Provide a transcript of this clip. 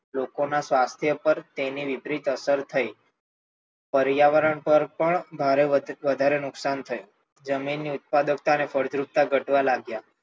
લોકો ના સ્વાથ્ય ઉપર તેની વિપરીત અસર થઈ, પર્યાવરણ પર પણ નુકશાન થઈ જમીન ની ફળદ્રુપતા અને ઉત્પાદનતા ઘટવા લાગી.